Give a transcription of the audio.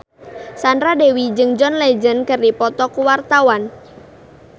Sandra Dewi jeung John Legend keur dipoto ku wartawan